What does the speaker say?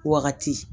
Wagati